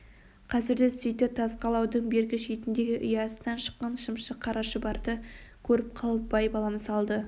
қазір де сөйтті тас қалаудың бергі шетіндегі ұясынан шыққан шымшық қара шұбарды көріп қалып бай-балам салды